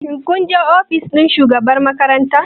Kun je ofishin shugaban makarantar?